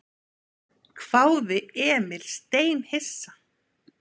hváði Emil steinhissa.